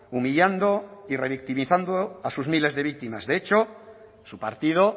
humillando y revictimizando a sus miles de víctimas de hecho su partido